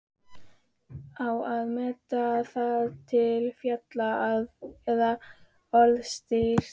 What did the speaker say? Á að meta það til fjár eða orðstírs?